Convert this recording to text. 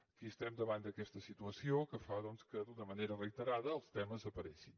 aquí estem davant d’aquesta situació que fa doncs que d’una manera reiterada els temes apareguin